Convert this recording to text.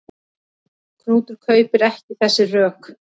Knútur kaupir ekki þessi rök.